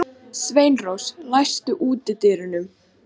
Sveinrós, læstu útidyrunum.